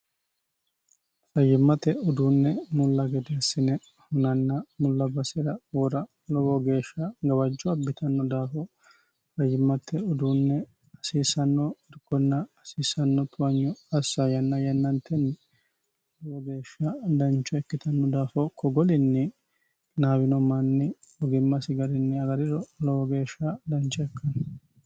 fayimmate uduunne mulla gedee assine hunanna mulla basira woora lowo geeshsha gawajjo abbitanno daafo fayyimmate uduunne hasiissanno irkonna hasiissanno towanyo assa yanna yenna yananitenni lowo geeshsha dancho ikkitanno daafo ko golinni qinaawino manni ogimmasi garinni agariro lowo geeshsha dancho ikkanno